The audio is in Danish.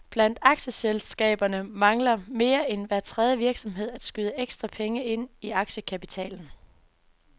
Blandt aktieselskaberne mangler mere end hver tredje virksomhed at skyde ekstra penge ind i aktiekapitalen.